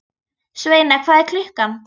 Sveina, hvað er klukkan?